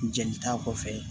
Jeli ta kɔfɛ